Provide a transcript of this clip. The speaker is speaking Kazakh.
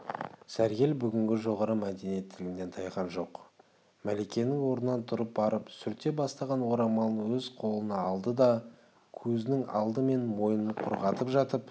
сәргел бүгінгі жоғары мәдениеттілігінен тайған жоқ мәликенің орнынан тұрып барып сүрте бастаған орамалын өз қолына алды да көзінің алды мен мойнын құрғатып жатып